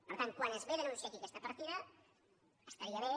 per tant quan es ve a denunciar aquí aquesta partida estaria bé